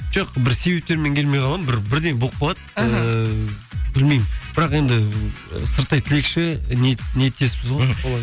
жоқ бір себептермен келмей қаламын бір бірдеңе болып қалады іхі ііі білмеймін бірақ енді сырттай тілекші ниеттеспіз ғой мхм